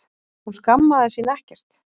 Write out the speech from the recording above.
Hún skammaðist sín ekkert.